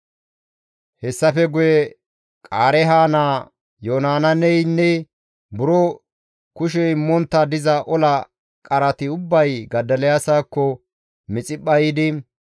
Hessafe guye Qaareeha naa Yohanaaneynne buro kushe immontta diza ola qarati ubbay Godoliyaasakko Mixiphpha yiidi,